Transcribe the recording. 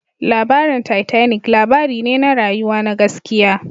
Labarin Titanic labari ne na rayuwa na gaskiya